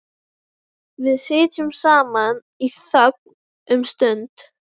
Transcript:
Hrund Þórsdóttir: Hvað eruð þið að gera hérna í dag?